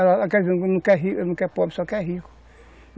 pobre, só quer rico.